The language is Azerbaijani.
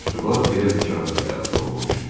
Məktuba bir də bir kağız da əlavə olunmuşdu.